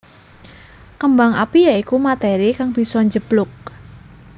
Kembang api ya iku materi kang bisa njeblug